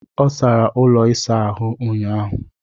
Ọ sara ụlọ ịsa ahụ ụnyaahụ.